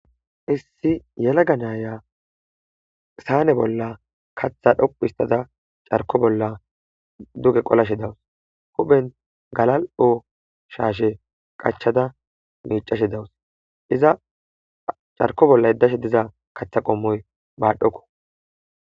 issi yelaga naaya saane bolla katha dhoqu histada carko bolla duge qolashe dawus hupen galal7o shaashe qachada miicashe dawus iza carko bolla yeddashe diza katha qommoy baadhokko